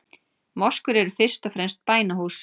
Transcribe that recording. Moskur eru fyrst og fremst bænahús.